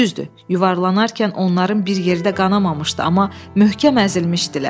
Düzdür, yuvarlanarkən onların bir yerdə qanamamışdı, amma möhkəm əzilmişdilər.